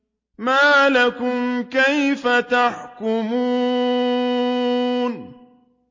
مَا لَكُمْ كَيْفَ تَحْكُمُونَ